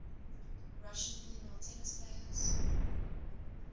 russian female tennis players